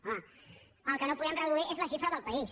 home el que no podem reduir és la xifra del país